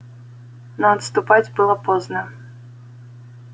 но отступать было поздно